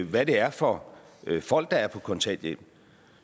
hvad det er for nogle folk der er på kontanthjælp